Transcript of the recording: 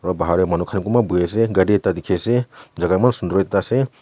Bahar tey manu khan konba boi asa kari akada dekhi asa chaka eman sundur akada asa.